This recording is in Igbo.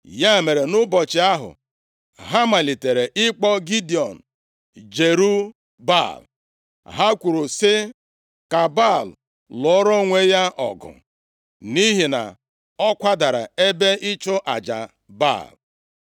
Ya mere, nʼụbọchị ahụ, ha malitere ịkpọ Gidiọn “Jerub-Baal.” Ha kwuru sị, “Ka Baal lụọrọ onwe ya ọgụ,” nʼihi na ọ kwadara ebe ịchụ aja Baal.